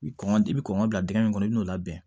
Kɔngɔ i bi kɔn ka bila dingɛ min kɔnɔ i bɛ n'o labɛn